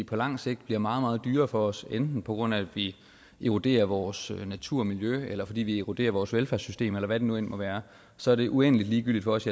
på langt sigt bliver meget meget dyrere for os enten på grund af at vi eroderer vores natur og miljø eller fordi vi eroderer vores velfærdssystem eller hvad det nu end måtte være så er det uendelig ligegyldigt for os